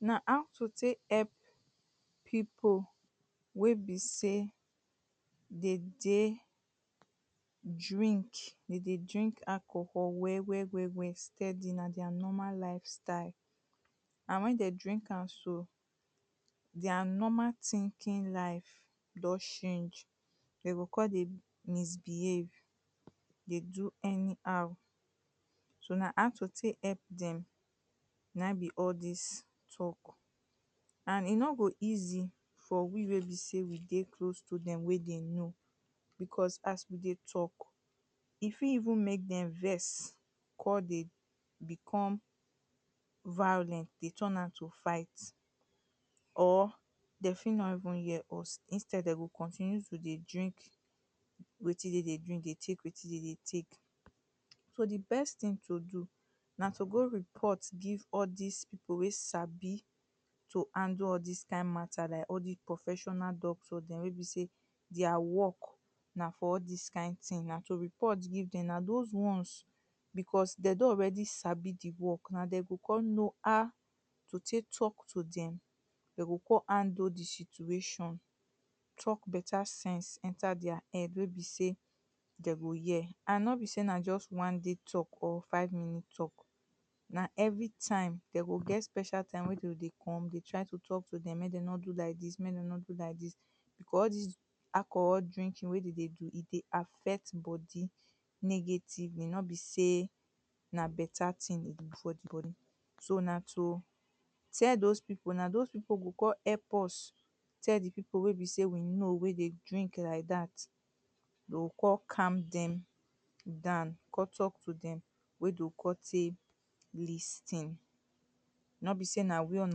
Now how to take help people wey be sey they dey drink, dem dey drink alcohol well well well well steady. Na their normal lifestyle. And when dem drink am so their normal thinking life don change. De go con dey misbehave dey do anyhow. So na how to take help dem na im be all dis talk and e no go dey easy for we wey be sey we dey close to dem wey dem know. because as we dey talk E fit even make dem vex con dey become violent, dey turn am to fight. or they fit no even hear us instead dey go continue to dey drink wetin dem dey drink, dey take wetin dem dey take. So the best thing to do na to go report give all dis people wey sabi to handle all dis kind matter. Like all dis professional doctor dem wey be sey their work na for all dis kind thing. Na to report give dem. Na dos ones because dem don already sabi the work. Na dem go con know how to take talk to dem. They o con handle the situation. Talk better sense enter their head wey be sey dem go hear. And no be sey na just one day talk or five minute talk na everytime. They go get special time wey de go dey come. They try to talk to dem, make dem no do like dis, make dem no do like dis. For all dis alcohol drinking wey dem dey do, e dey affect body negatively. No be sey na better thing e dey do for the body. So na to tell dos people now. Dos people go con help us tell the people wey be sey we know wey dey drink like dat. De o con calm dem down. Con talk to dem wey de o con take lis ten. No be sey na we on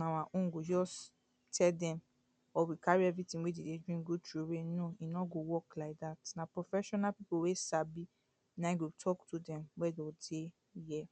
our own go just tell dem or we carry everything wey dem dey drink go throw away, no. E no go work like dat. Na professional people wey sabi, na im go talk to dem wey dem o take hear.